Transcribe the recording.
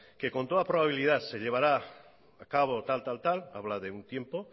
que con toda probabilidad se llevara a cabo tal tal tal habla de un tiempo